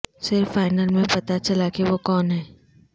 صرف فائنل میں پتہ چلا کہ وہ کون ہے